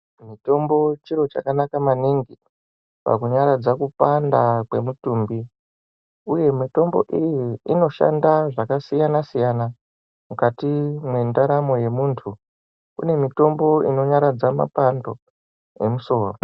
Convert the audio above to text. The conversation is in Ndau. Mitombo chiro chakanaka maningi pakunyaradza kupanda kwemutumbi, uye mitombo iyi inoshanda zvakasiyana siyana mukati mwendaramo yemuntu kune mitombo inonyaradza mapando emusoro.